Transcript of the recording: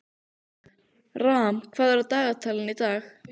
Ram, hvað er í dagatalinu í dag?